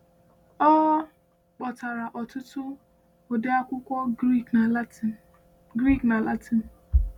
Ọ kpọkọtara ọtụtụ ụdị akwụkwọ Grik na Latịn. Grik na Latịn.